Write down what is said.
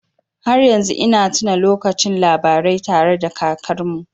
Har yanzu ina tuna lokacin labarai tare da kakarmu.